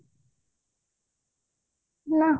ହଁ